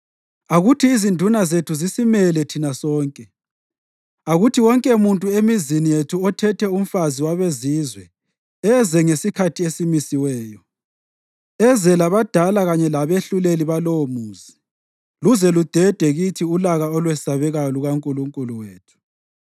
Akuthi izinduna zethu zisimele thina sonke. Akuthi wonkemuntu emizini yethu othethe umfazi wabezizwe eze ngesikhathi esimisiweyo, eze labadala kanye labehluleli balowomuzi, luze ludede kithi ulaka olwesabekayo lukaNkulunkulu wethu.”